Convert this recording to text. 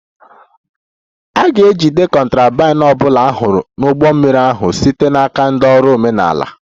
A ga-ejide contraband ọ bụla a hụrụ n'ụgbọ mmiri ahụ site n'aka ndị ọrụ omenala